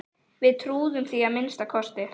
Við trúðum því að minnsta kosti.